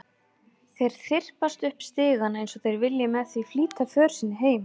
Þeir þyrpast upp stigana eins og þeir vilji með því flýta för sinni heim.